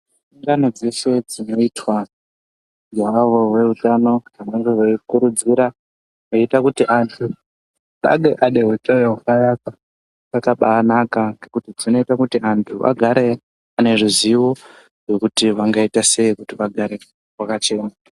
Ungano dzeshe dzinoitwa naavo veutano vanemge veyi kuridzira veita kuti antu vange vaneutano hwakanaka dzakabanaka ngekuti dzinoita kuti vantu vagare vaneruzivo rwekuti vangaita sei vagare vakachena.